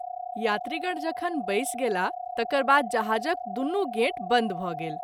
यात्रीगण जखन बैस गेलाह तकर बाद जहाज़क दुनू गेट बंद भ’ गेल।